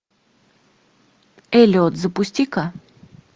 эллиот запусти ка